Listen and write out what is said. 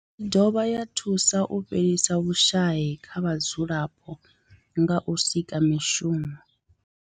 I dovha ya thusa u fhelisa vhushayi kha vhadzulapo nga u sika mishumo.